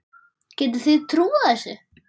Getið þið trúað þessu?